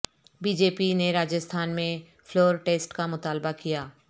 be J P نے راجستھان میں floor test کامطالبہ کیا